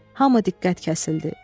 Hamı diqqət kəsildi.